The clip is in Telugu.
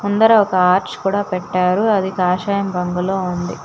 అందరూ ఒక ఆర్చ్ కూడా పెట్టారు అది కాషాయం రంగులో ఉంది.